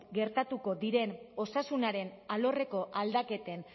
gertatuko diren osasunaren alorreko aldaketen